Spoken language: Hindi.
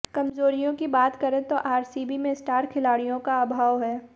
कमजोरियों की बात करें तो आरसीबी में स्टार खिलाड़ियों का अभाव है